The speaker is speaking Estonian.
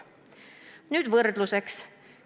Toon võrdluseks järgmised andmed.